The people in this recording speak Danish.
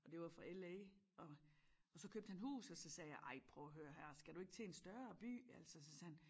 Og det var fra LA og og så købte han hus og så sagde jeg ej prøv at hør her skal du ikke til en større by altså og så sagde han